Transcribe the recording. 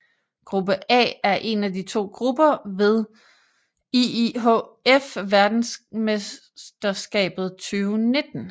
Gruppe A er en af de to grupper ved IIHF Verdensmesterskabet 2019